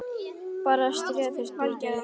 Bara að stríða þér svolítið, litla mín.